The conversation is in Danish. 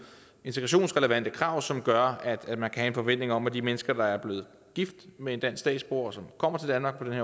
integrationsrelevante krav til som gør at man kan have en forventning om at de mennesker der er blevet gift med en dansk statsborger og som kommer til danmark på den